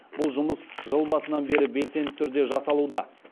бұл жұмыс жыл басынан бері белсенді түрде жасалуда